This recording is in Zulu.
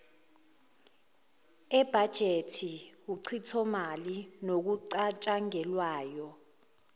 ebhajethi uchithomali nokucatshangelwayo